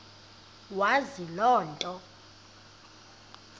wazi loo nto